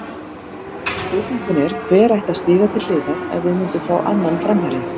Spurningin er, hver ætti að stíga til hliðar ef við myndum fá annan framherja?